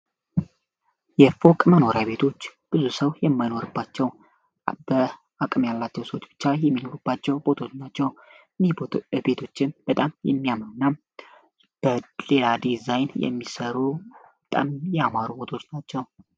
የፎቅ መኖሪ ቤቶች ብዙ ሰው የመኖርባቸው በአቅም ያላቸው ሰች ብቻ የሚኖርባቸው ቤቶች ናቸው። ቤቶችን በጣም የሚያመው እና በሌላ ዲዛይን የሚሰሩ በጣም ያማሩ ቤቶች ናቸው።